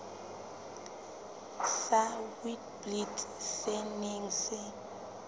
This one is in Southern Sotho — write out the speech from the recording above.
sa witblits se neng se